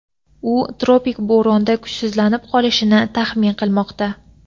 u tropik bo‘ronda kuchsizlanib qolishini taxmin qilmoqda.